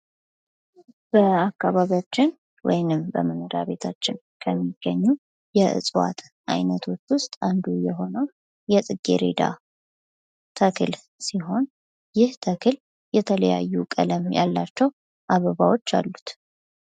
በአካባቢያችን ወይንም በመኖሪያ ቤታችን ከሚገኙ የእጽዋት አይነቶች ዉስጥ አንዱ የሆነው የጽጌሬዳ ተክል ሲሆን ይህ ተክል የተለያዩ ቀለም ያላቸው አበባዎች አሉት።